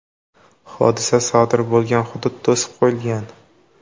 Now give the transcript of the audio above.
Hodisa sodir bo‘lgan hudud to‘sib qo‘yilgan.